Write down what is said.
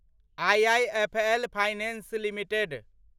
IIFL finance limited